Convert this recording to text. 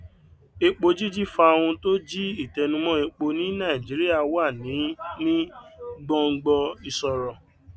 epo jíjí fa ohun tó jí ìtẹnumọ epo ní nàìjíríà wà ní ní gbòngbò ìṣòro